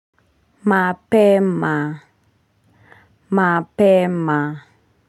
MAPEMA MAPEMA.